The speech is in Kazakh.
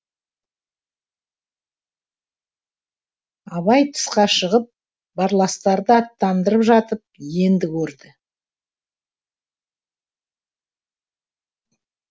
абай тысқа шығып барластарды аттандырып жатып енді көрді